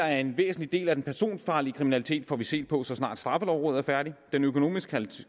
at en væsentlig del af den personfarlige kriminalitet får vi set på så snart straffelovrådet er færdigt den økonomiske